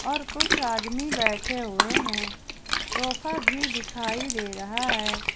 और कुछ आदमी बैठे हुए हैं सोफा भी दिखाई दे रहा है।